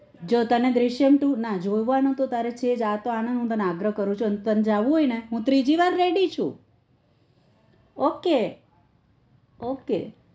જો તને દૃશ્યમ two ના જોવાનું તારે છે આતો આનંદ તને અગ્રહ કરું છુ તન જાઉં હોય તો હું ત્રીજી વાર ready છુ ok ok